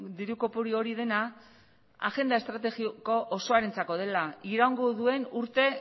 diru kopuru hori dena agenda estrategiko osoarentzako dela iraungo duen urte